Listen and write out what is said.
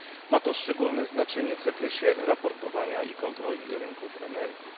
Ma to szczególne znaczenie w zakresie raportowania i kontroli rynków energii.